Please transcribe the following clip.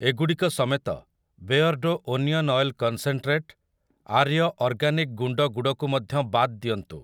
ଏଗୁଡ଼ିକ ସମେତ, ବେୟର୍ଡ଼ୋ onion oil concentrate, Arya organic ଗୁଣ୍ଡ ଗୁଡ଼ କୁ ମଧ୍ୟ ବାଦ୍ ଦିଅନ୍ତୁ ।